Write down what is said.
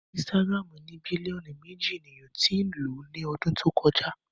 Instagram ní bílíọ̀nù méjì ènìyàn tí ń lò ó ní ọdún tí o kọjá